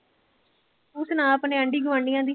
ਤੰ ਸੁਣਾ ਆਪਣੇ ਆਂਢੀ ਗੁਆਂਢੀਆਂ ਦੀ।